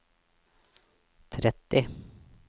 tretti